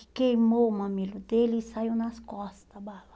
que queimou o mamilo dele e saiu nas costas, a bala.